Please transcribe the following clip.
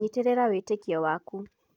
Nyitĩrĩra wĩtĩkio waku.